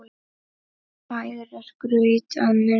Færir graut að munni.